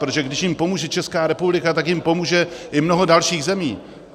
Protože když jim pomůže Česká republika, tak jim pomůže i mnoho dalších zemí.